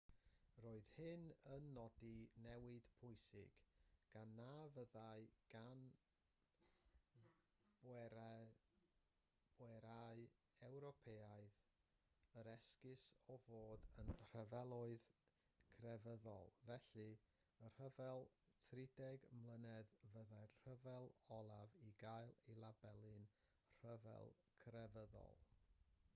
roedd hyn yn nodi newid pwysig gan na fyddai gan bwerau ewropeaidd yr esgus o fod yn rhyfeloedd crefyddol felly y rhyfel trideg mlynedd fyddai'r rhyfel olaf i gael ei labelu'n rhyfel crefyddol